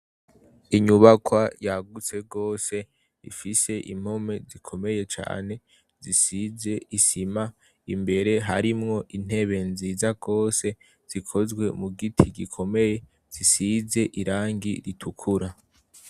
Inyubakwa yagutse rwose ifise impome zikomeye cane, zisize isima imbere harimwo intebe nziza rwose zikozwe mu giti gikomeye zisize irangi ritukura.